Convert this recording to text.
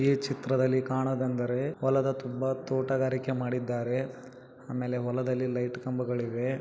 ಈ ಚಿತ್ರದಲ್ಲಿ ಕಾಣುದೆಂದರೆ ಒಲದ ತುಂಬಾ ತೋಟಗಾರಿಕೆ ಮಾಡಿದ್ದಾರೆ ಆಮೇಲೆ ಹೊಲದಲ್ಲಿ ಲೈಟ್‌ ಕಂಬಗಳು ಇವೆ.